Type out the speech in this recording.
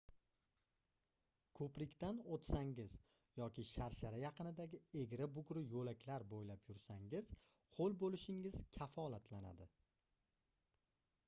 koʻprikdan oʻtsangiz yoki sharshara yaqinidagi egri-bugri yoʻlaklar boʻylab yursangiz hoʻl boʻlishingiz kafolatlanadi